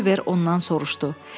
Oliver ondan soruşdu.